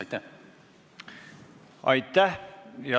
Aitäh!